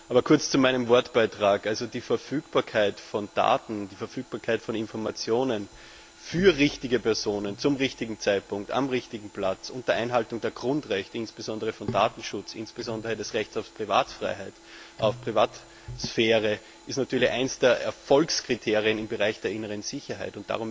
Aber kurz zu meinem Wortbeitrag Die Verfügbarkeit von Daten, die Verfügbarkeit von Informationen für die richtigen Personen zum richtigen Zeitpunkt am richtigen Platz unter Einhaltung der Grundrechte, insbesondere des Datenschutzes und des Rechts auf Privatsphäre, ist natürlich eines der Erfolgskriterien im Bereich der inneren Sicherheit.